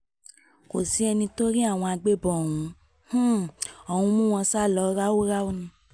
kò sẹ́ni tó rí àwọn agbébọ̀n ọ̀hún um ọ̀hún ọ̀hún mú wọn sá lọ ráúráú ni